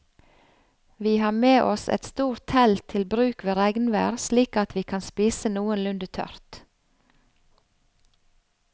Vi har med oss et stort telt til bruk ved regnvær slik at vi kan spise noenlunde tørt.